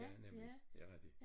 Ja nemlig ja rigtig